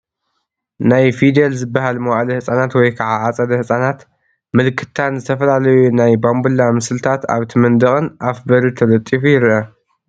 ናይ ፊደል ዝበሃል መዋእለ ህፃናት ወይ ከዓ ኣፀደ ህፃናት ምልክታን ዝተፈላለዩ ናይ ባምቡላ ምስልታት ኣብቲ መንደቅን ኣፍ በሪ ተለጢፋ ይርአ፡፡